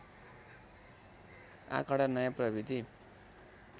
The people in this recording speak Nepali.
आँकडा नयाँ प्रविधि